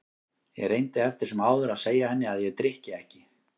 Ég reyndi eftir sem áður að segja henni að ég drykki ekki.